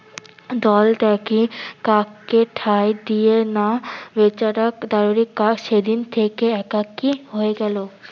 দলটাকে কাককে ঠাই দিয়ে না বেচারা দাইরে কা সেদিন থেকে একাকী হয়ে গেলো।